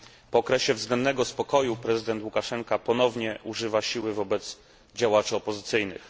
Po okresie względnego spokoju, prezydent Łukaszenka ponownie używa siły wobec działaczy opozycyjnych.